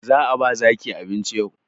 Za a ba zaki abinci yau